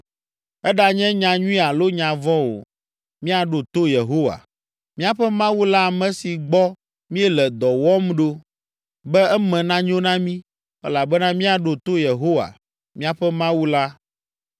Eɖanye nya nyui alo nya vɔ̃ o, míaɖo to Yehowa, míaƒe Mawu la ame si gbɔ míele dɔwòm ɖo, be eme nanyo na mí, elabena míaɖo to Yehowa, míaƒe Mawu la.”